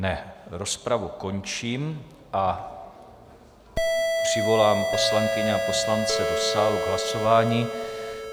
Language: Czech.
Ne, rozpravu končím a přivolám poslankyně a poslance do sálu k hlasování.